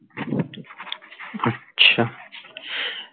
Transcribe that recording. আচ্ছা,